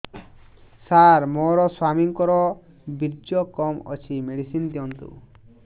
ସାର ମୋର ସ୍ୱାମୀଙ୍କର ବୀର୍ଯ୍ୟ କମ ଅଛି ମେଡିସିନ ଦିଅନ୍ତୁ